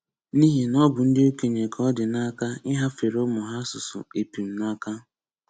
,n'ihina ọ bụ ndị okenye ka ọ dị n'aka ịhafere ụmụ ha asụsụ epum n'aka